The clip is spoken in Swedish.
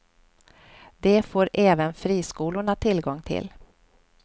Det får även friskolorna tillgång till.